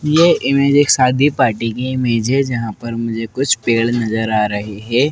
ये इमेज एक शादी पार्टी की इमेज जहां पर मुझे कुछ पेड़ नजर आ रही है।